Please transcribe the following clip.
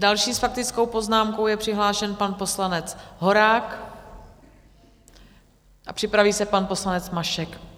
Další s faktickou poznámku je přihlášen pan poslanec Horák a připraví se pan poslanec Mašek.